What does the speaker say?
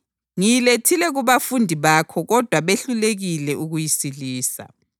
Ngiyilethile kubafundi bakho kodwa behlulekile ukuyisilisa.”